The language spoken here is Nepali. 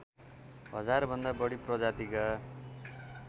हजारभन्दा बढी प्रजातिका